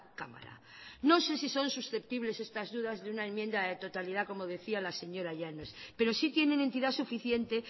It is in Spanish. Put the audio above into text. cámara no sé si son susceptibles estas dudas de una enmienda de totalidad como decía la señora llanos pero sí tienen entidad suficiente